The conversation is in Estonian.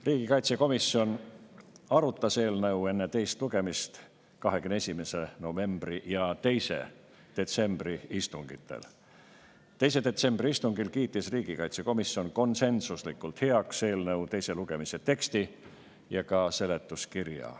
Riigikaitsekomisjon arutas eelnõu enne teist lugemist 21. novembri ja 2. detsembri istungil ning 2. detsembri istungil kiitis riigikaitsekomisjon konsensuslikult heaks eelnõu teise lugemise teksti ja ka seletuskirja.